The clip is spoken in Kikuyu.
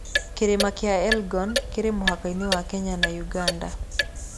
Kĩrĩma kĩa Elgon kĩrĩ mũhaka-inĩ wa Kenya na Uganda.